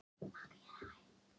SKÓLAMÁL, NÁMSVAL, NÁMSÁRANGUR